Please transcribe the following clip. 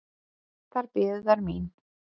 Þar biðu þær mín.